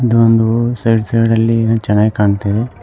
ಇದೊಂದು side side ಲ್ಲಿ ಚೆನ್ನಾಗ ಕಾಣ್ತಾಇದೆ.